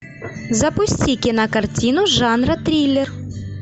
запусти кинокартину жанра триллер